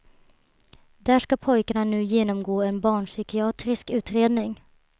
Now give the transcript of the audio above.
Där ska pojkarna nu genomgå en barnpsykiatrisk utredning.